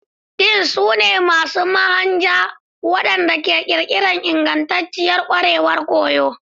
Deans su ne masu zanen Manhaja waɗanda ke ƙirƙira ingantacciyar ƙwarewar koyo.